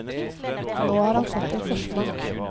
Nå har han fått en forsmak.